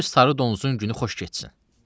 Qoy sarı donuzun günü xoş getsin.